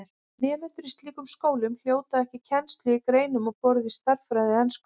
Nemendur í slíkum skólum hljóta ekki kennslu í greinum á borð við stærðfræði og ensku.